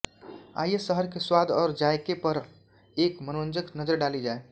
आइये शहर के स्वाद और जायके पर एक मनोरंजक नज़र डाली जाय